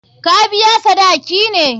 Ka biya sadaki ne?